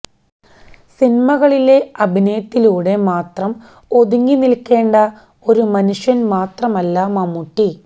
സിനിമകളിലെ അഭിനയത്തിലൂടെ മാത്രം ഒതുങ്ങി നില്ക്കേണ്ടുന്ന ഒരു മനുഷ്യന് മാത്രമല്ല മമ്മൂട്ടി